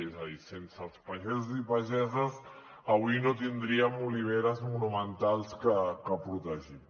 és a dir sense els pagesos i pageses avui no tindríem oliveres monumentals per protegir